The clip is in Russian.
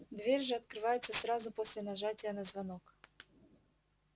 дверь же открывается сразу после нажатия на звонок